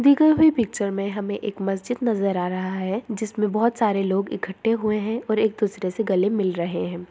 दी गयी हुई पिक्चर में हमे एक मस्जिद नजर आ रहा है जिसमे बहुत सारे लोग इकट्ठे हुए है और एक दूसरे से गले मिल रहे है।